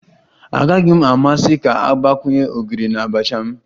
Agaghị m amasị ka a gbakwunye ogiri na abacha m